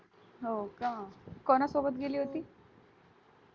हो का कोणासोबत गेली होती?